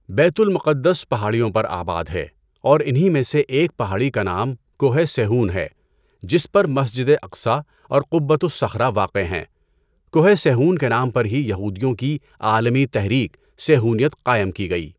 بیت المقدس پہاڑیوں پر آباد ہے اور انہی میں سے ایک پہاڑی کا نام کوہ صیہون ہے جس پر مسجد اقصٰی اور قبۃ الصخرہ واقع ہیں۔ کوہ صیہون کے نام پر ہی یہودیوں کی عالمی تحریک صیہونیت قائم کی گئی۔